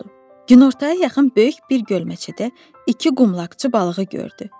Günortaya yaxın böyük bir gölməçədə iki qumlaqçı balığı gördü.